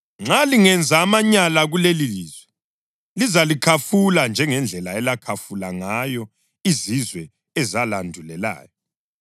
Nxa lingenza amanyala kulelilizwe, lizalikhafula njengendlela elakhafula ngayo izizwe ezalandulelayo.